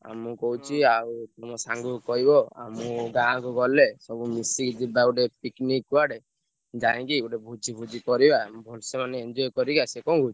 ଆଉ ମୁଁ କହୁଛି ଆଉ ମୋ ସାଙ୍ଗୁକୁ କହିବ ଆଉ ମୁଁ ଗାଁକୁ ଗଲେ ସବୁ ମିଶିକି ଯିବା ଗୋଟେ picnic କୁଆଡେ। ଯାଇକି ଗୋଟେ ଭୋଜି ଫୋଜି ଭଲସେ ମାନେ enjoy କରି ଆସିଆ କଣ କହୁଛୁ?